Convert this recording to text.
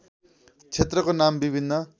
क्षेत्रको नाम विभिन्न